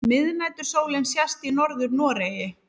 Miðnætursólin sést í Norður-Noregi.